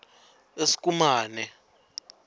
eskumane